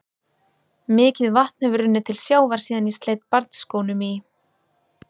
Mikið vatn hefur runnið til sjávar síðan ég sleit barnsskónum í